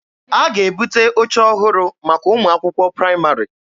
A ga-ebute oche ọhụrụ maka ụmụ akwụkwọ praịmarị.